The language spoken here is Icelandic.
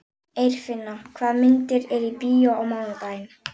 Eirfinna, hvaða myndir eru í bíó á mánudaginn?